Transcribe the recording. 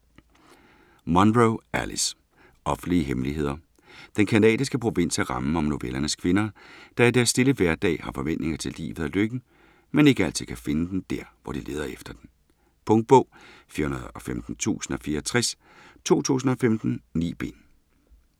Munro, Alice: Offentlige hemmeligheder Den canadiske provins er rammen om novellernes kvinder, der i deres stille hverdag har forventninger til livet og lykken, men ikke altid kan finde den, dér hvor de leder efter den. Punktbog 415064 2015. 9 bind.